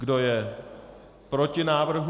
Kdo je proti návrhu?